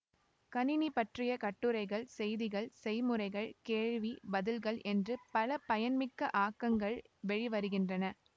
கணினி பற்றிய கட்டுரைகள் செய்திகள் செய்முறைகள் கேள்வி பதில்கள் என்று பல பயன்மிக்க ஆக்கங்கள் வெளி வருகின்றன